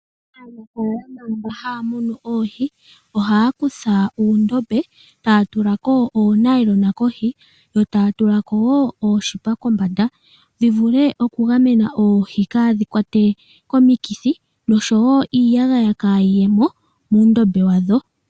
Aanafaalama mba haya munu oohi ohaya kutha uundombe etaya tulako oonayilona kohi yo taya tulako oonete wo kombanda dhi vule okugamena oohi kaadhi kwatwe komikithi noshowo iiyagaya kaa yiyemo muundombe wadho.